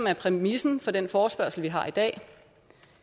præmissen for den forespørgsel vi har i dag